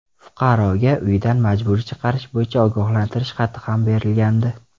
Fuqaroga uyidan majburiy chiqarish bo‘yicha ogohlantirish xati ham berilgandi.